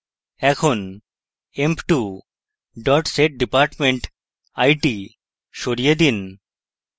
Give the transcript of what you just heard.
এখন emp2 setdepartment it; সরিয়ে দিন